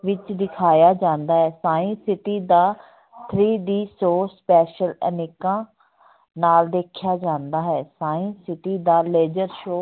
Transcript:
ਵਿੱਚ ਦਿਖਾਇਆ ਜਾਂਦਾ ਹੈ science city ਦਾ three D show special ਐਨਕਾਂ ਨਾਲ ਦੇਖਿਆ ਜਾਂਦਾ ਹੈ science city ਦਾ ਲੇਜ਼ਰ show